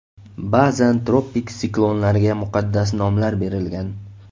Ba’zan tropik siklonlarga muqaddas nomlar berilgan.